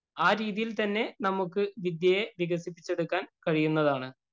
ആ രീതിയില്‍ തന്നെ നമുക്ക് വിദ്യയെ വികസിപ്പിച്ചെടുക്കാന്‍ കഴിയുന്നതാണ്.